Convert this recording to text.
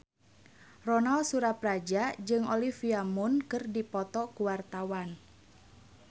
Ronal Surapradja jeung Olivia Munn keur dipoto ku wartawan